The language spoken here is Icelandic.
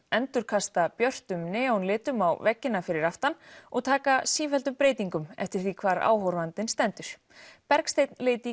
endurkasta björtum á veggina fyrir aftan og taka sífelldum breytingum eftir því hvar áhorfandinn stendur Bergsteinn leit í